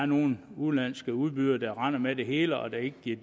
nogle udenlandske udbydere render med det hele og der ikke bliver